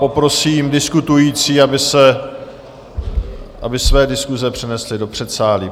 Poprosím diskutující, aby své diskuse přenesli do předsálí.